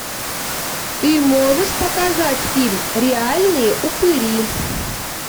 ты можешь показать фильм реальные упыри